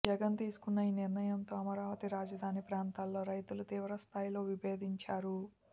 జగన్ తీసుకున్న ఈ నిర్ణయంతో అమరావతి రాజధాని ప్రాంతాల్లో రైతులు తీవ్ర స్థాయిలో విభేదించారు